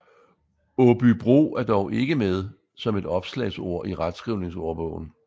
Aabybro er dog ikke med som et opslagsord i retskrivningsordbogen